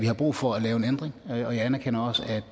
har brug for at lave en ændring og jeg anerkender også at